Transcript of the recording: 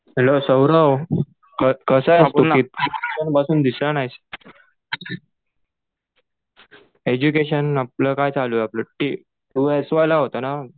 Hello Saurabh, कसा आहेस तु? खूप दिवसांपासून दिसला नाहीस. एज्युकेशन आपलं काय चालू आपलं ? तु एस वाय ला होता ना?